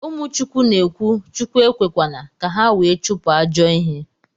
Umu chukwu na ekwu Chukwu ekwekwana ka ha wee chupu ajo ihe